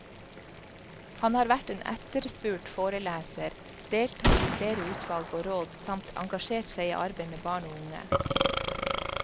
Han har vært en etterspurt foreleser, deltatt i flere utvalg og råd samt engasjert seg i arbeid med barn og unge.